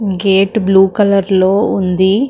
gate blue కలర్లో ఉంది --